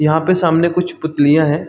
यह पे सामने कुछ पुतलियाँ हैं।